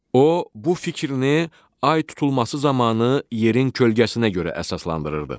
O bu fikrini ay tutulması zamanı yerin kölgəsinə görə əsaslandırırdı.